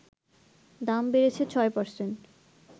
দাম বেড়েছে ৬%